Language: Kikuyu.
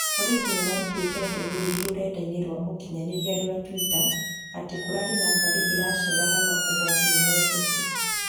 Borithi nĩmarutire ndũmĩrĩri rũrenda-inĩ rwa ũkinyanĩria rwa Twitter atĩ kũrarĩ na ngarĩ ĩraceraga no ũgwati nĩweherio.